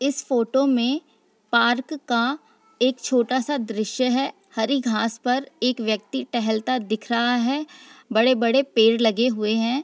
इस फोटो में पार्क का एक छोटा सा दृश्य है हरी घास पर एक व्यक्ति टहलता दिख रहा है बड़े-बड़े पेड़ लगे हुए हैं।